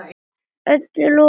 Öllu lokið, mamma.